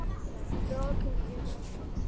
Lokun getur átt við